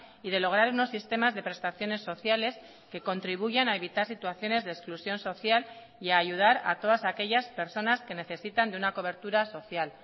y de lograr unos sistemas de prestaciones sociales que contribuyan a evitar situaciones de exclusión social y a ayudar a todas aquellas personas que necesitan de una cobertura social